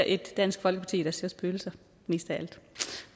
et dansk folkeparti der ser spøgelser